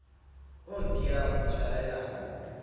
o tiang ho tshwarelwa ho